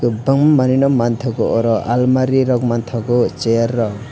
tongmanino mangthogo oro almari rok manthogo chair rok.